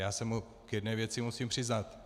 Já se mu k jedné věci musím přiznat.